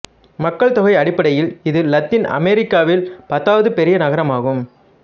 மக்கள் தொகை அடிப்படையில் இது லத்தீன் அமெரிக்காவில் பத்தாவது பெரிய நகரமாகும்